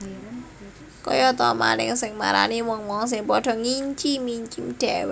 Kaya ta maling sing marani wong wong sing padha ngincim incim dhèwèké